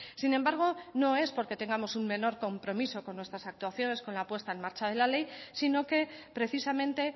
sin embargo no es porque tengamos un menor compromiso con nuestras actuaciones con la puesta en marcha de la ley sino que precisamente